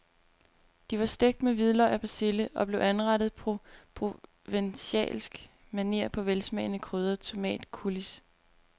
De var stegt med hvidløg og persille og blev anrettet på provencalsk maner på en velsmagende krydret tomatcoulis.